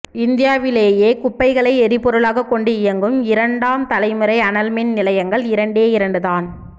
இந்தியாவிலேயே குப்பைகளை எரிபொருளாகக் கொண்டு இயங்கும் இரண்டாம் தலைமுறை அனல் மின் நிலையங்கள் இரண்டே இரண்டு தான்